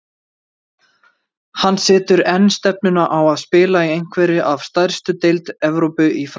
Hann setur enn stefnuna á að spila í einhverri af stærstu deild Evrópu í framtíðinni.